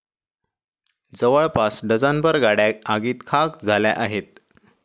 जवळपास डझनभर गाडया आगीत खाक झाल्या आहेत.